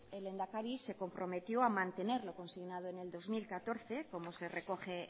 el lehendakari se comprometió a mantener lo consignado en el dos mil catorce como se recoge